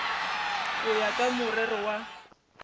go ya ka morero wa